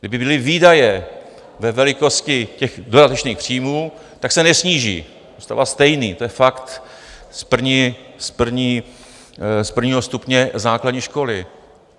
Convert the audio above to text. Kdyby byly výdaje ve velikosti těch dodatečných příjmů, tak se nesníží, zůstává stejný, to je fakt z prvního stupně základní školy.